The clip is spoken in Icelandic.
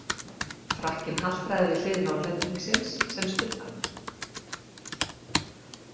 Frakkinn haltraði við hlið Norðlendingsins sem studdi hann.